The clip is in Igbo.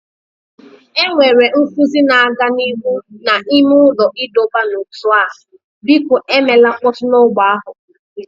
Enwere nkuzi na-aga n'ihu n'ime ụlọ ịdọba n'ótú a, biko emela mkpọtụ na ogbè ahụ